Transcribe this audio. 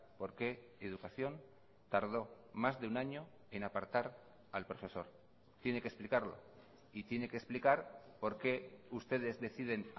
por qué educación tardó más de un año en apartar al profesor tiene que explicarlo y tiene que explicar por qué ustedes deciden